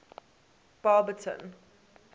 barberton